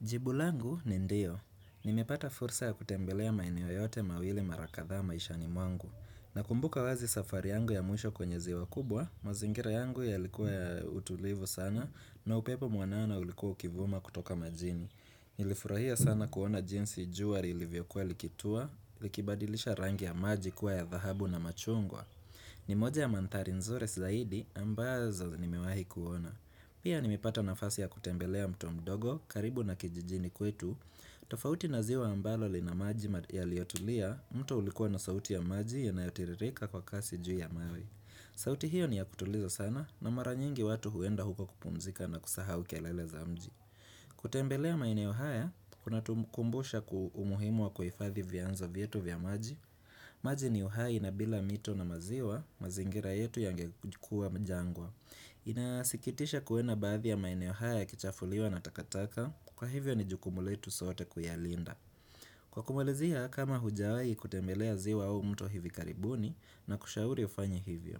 Jibu langu ni ndio. Nimepata fursa ya kutembelea maineo yote mawili marakatha maishani mwangu. Na kumbuka wazi safari yangu ya mwisho kwenye ziwa kubwa, mazingira yangu ya likuwa ya utulivu sana na upepo muanana ulikuwa ukivuma kutoka majini. Nilifurahia sana kuona jinsi jua ilivyokuwa likitua, likibadilisha rangi ya maji kuwa ya zahabu na machungwa. Ni moja ya mantari nzure silaidi ambazo ni mewahi kuona. Pia ni mipata nafasi ya kutembelea mtu mdogo, karibu na kijijini kwetu, tofauti naziwa ambalo li na maji yaliotulia, mtu ulikuwa na sauti ya maji ya nayotiririka kwa kasi juu ya mawe. Sauti hiyo ni ya kutuliza sana na maranyingi watu huenda huko kupunzika na kusaha ukelele za mji. Kutembelea maeneo uhaya, kuna tukumbusha kuumuhimua kwa ifadhi vya anzo vya maji. Maji ni uhaya inabila mito na maziwa, mazingira yetu ya ngekukua mjangwa. Inasikitisha kuena bathi ya maineo haya ya kichafuliwa na takataka Kwa hivyo ni jukumuletu sote kuyalinda Kwa kumulizia kama hujawai kutembelea zi wao mto hivi karibuni na kushauri ufanyi hivyo